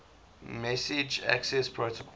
message access protocol